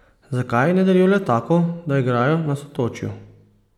Zakaj ne delijo letakov, da igrajo na Sotočju?